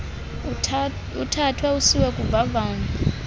uthathwe usiwe kuvavanyo